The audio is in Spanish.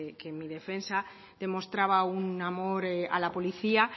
que mi defensa demostraba un amor a la policía